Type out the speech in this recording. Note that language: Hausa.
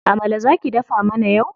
Amala za ki dafa mana yau.